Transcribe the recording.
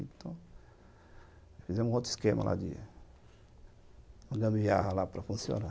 Então, fizemos outro esquema lá de... de gambiara lá para funcionar